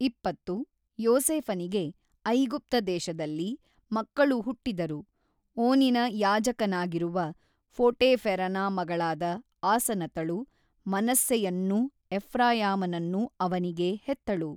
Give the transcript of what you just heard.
ಇಪ್ಪತ್ತು ಯೋಸೇಫನಿಗೆ ಐಗುಪ್ತ ದೇಶದಲ್ಲಿ ಮಕ್ಕಳು ಹುಟ್ಟಿದರು ಓನಿನ ಯಾಜಕನಾಗಿರುವ ಪೋಟೀಫೆರನ ಮಗಳಾದ ಆಸನತಳು ಮನಸ್ಸೆಯನ್ನೂ ಎಫ್ರಾಯಾಮ ನನ್ನೂ ಅವನಿಗೆ ಹೆತ್ತಳು.